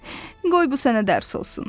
Qoy bu sənə dərs olsun.